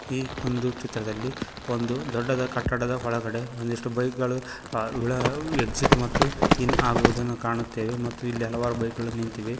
ಈ ಒಂದು ಚಿತ್ರದಲ್ಲಿ ಒಂದು ದೊಡ್ಡದ ಕಟ್ಟಡದ ಒಳಗಡೆ ಒಂದಿಷ್ಟು ಬೈಕ್ ಗಳು ಅ ವಿ ಳ ಎಕ್ಸಿಟ್ ಮತ್ತು ಇನ್ ಆಗುವುದನ್ನು ಕಾಣುತ್ತೇವೆ ಮತ್ತು ಇಲ್ಲಿ ಹಲವಾರು ಬೈಕ್ ಗಳು ನಿಂತಿವೆ.